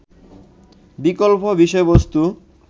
বিকল্প বিষয়বস্তু